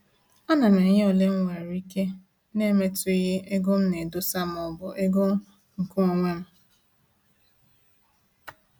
A na m enye ole mwere ike na-emetughi ego m na edosa ma ọ bụ ego nke onwem